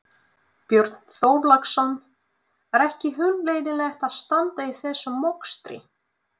Björn Þorláksson: Er ekki hundleiðinlegt að standa í þessum mokstri?